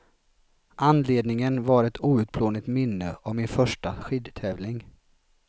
Anledningen var ett outplånligt minne av min första skidtävling.